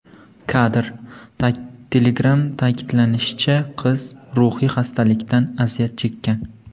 Kadr: Telegram Ta’kidlanishicha, qiz ruhiy xastalikdan aziyat chekkan.